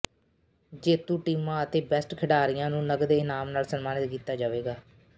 ਜੇਤੂ ਟੀਮਾਂ ਅਤੇ ਬੈਸਟ ਖਿਡਾਰੀਆ ਨੂੰ ਨਗਦ ਇਨਾਮ ਨਾਲ ਸਨਮਾਨਿਤ ਕੀਤਾ ਜਾਵੇਗਾ